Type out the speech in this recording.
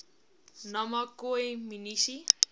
nama khoi munisi